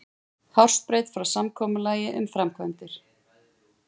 Hársbreidd frá samkomulagi um framkvæmdir